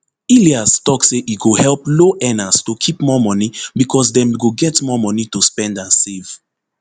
ilias tok say e go help low earners to keep more moni becos dem go get more moni to spend and save